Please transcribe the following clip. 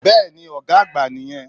Bẹ́ẹ̀ni Ògá àgbà nì yen